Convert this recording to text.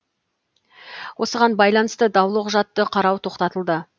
осыған байланысты даулы құжатты қарау тоқтатылды